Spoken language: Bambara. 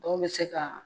Dɔw bɛ se ka